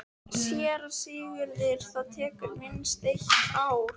SÉRA SIGURÐUR: Það tekur minnst eitt ár.